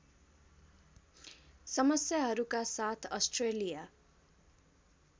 समस्याहरूका साथ अस्ट्रेलिया